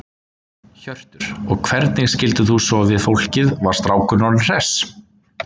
Hjörtur: Og hvernig skildir þú svo við fólkið, var strákurinn orðinn hress?